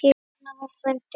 Svona var frændi.